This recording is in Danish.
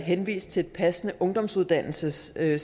henvist til et passende ungdomsuddannelsescenter eller